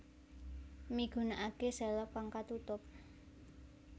Migunakake selop kang katutup